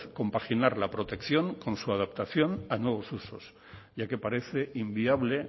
compaginar la protección con su adaptación a nuevos usos ya que parece inviable